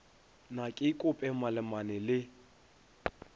na ke kope malemane le